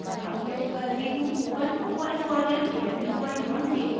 Ubuntu os version 1110